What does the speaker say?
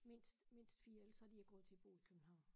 Mindst mindst 4 ellers har de ikke råd til at bo i København